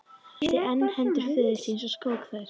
Björn þrýsti enn hendur föður síns og skók þær.